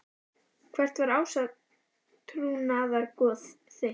Hvert var átrúnaðargoð þitt?